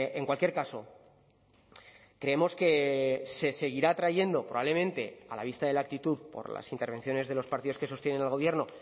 en cualquier caso creemos que se seguirá trayendo probablemente a la vista de la actitud por las intervenciones de los partidos que sostienen al gobierno